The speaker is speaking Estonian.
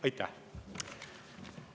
Aitäh!